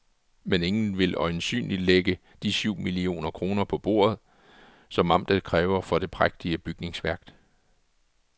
Men ingen vil øjensynligt lægge de syv millioner kroner på bordet, som amtet kræver for det prægtige bygningsværk.